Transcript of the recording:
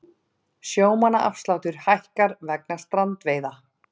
Sjómannaafsláttur hækkar vegna strandveiða